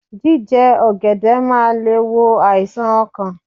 Jíje ọ̀gẹ̀dẹ̀ máa le è wo àìsàn okàn